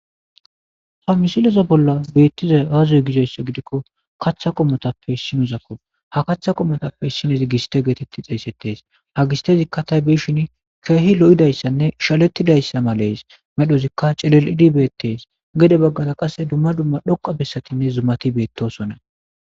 Ha misileza bolla beettiza aazuy gizoyssa gidikko kaththa qomotappe issinuzakof ha kaththa qomotappe issinezi giste geetetti xeesettees ha gistezikka tay beshin keehi lo7idayssanne shalettidayssa malees medhozikka celelidi beettees gede baggada qasse dumma dumma dhoqa bessatinne zumati beettosonna.